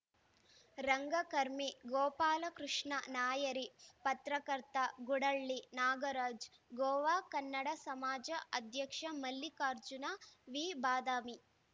ರಂಗಕರ್ಮಿ ಗೋಪಾಲಕೃಷ್ಣ ನಾಯರಿ ಪತ್ರಕರ್ತ ಗುಡಹಳ್ಳಿ ನಾಗರಾಜ್ ಗೋವಾ ಕನ್ನಡ ಸಮಾಜ ಅಧ್ಯಕ್ಷ ಮಲ್ಲಿಕಾರ್ಜುನ ವಿ ಬಾದಾಮಿ